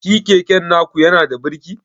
Shi keken naku yanada birki?